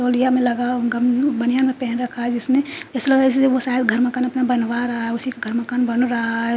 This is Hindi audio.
तौलिया में लगा गामू बनियान पेहेन रखा है जिसने ऐसा लग रहा है जैसे वो शायद अपना घर मकान बनवा रा है उसी का घर मकान बन रहा है।